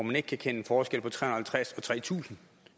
man ikke kan kende forskel på tre hundrede og halvtreds og tre tusind